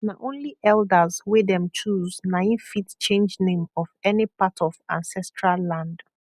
na only elders wey dem choose nai fit change name of any part of ancestral land